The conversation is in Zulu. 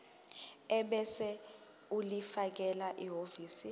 ebese ulifakela ehhovisi